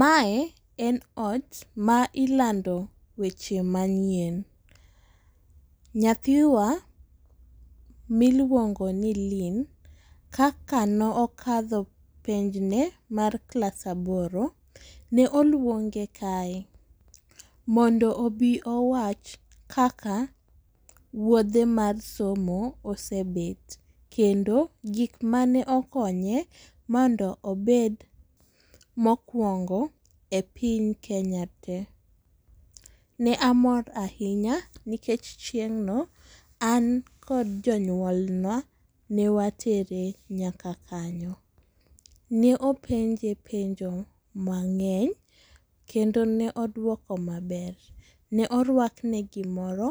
Mae en ot ma ilando weche ma nyien. Nyathiwa mi iluongo ni Lynn, kaka ne okadho penj ne mar klas aboro ne oluonge kae mondo obi owach kaka wuodhe mar somo osebet. Kendo gik mane okonye mondo obed mokuongo e piny Kenya tee. Ne amor ahinya nikech chieng’ no an gi jonyuol na ne watere nyaka kanyo. Ne openje penjo mangeny kendo ne oduoko ma ber. Ne orwak ne gi moro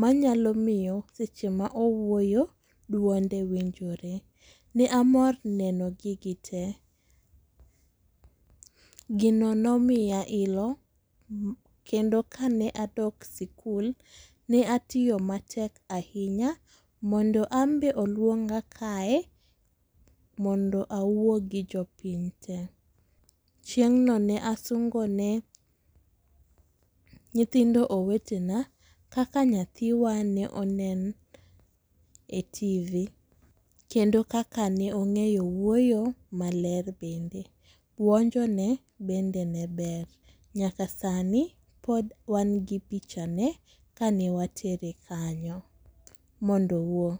ma nyalo miyo seche ma owuoyo duonde winjore. Ne amor neno gigi te. Gino ne omiya ilo kendo ka ne adok skul ne atiyo matek ahinya mondo an be oluongo kae mondo awuo gi jopiny te. Chieng no ne asungo ne nyithindo owetena kaka nyathiwa ne onen e TV kendo kaka ne ongeyo wuoyo maler bende. Buonjo ne bende ne ber, nyaka sani pod wan gi picha ne kane watere kanyo mondo owuo.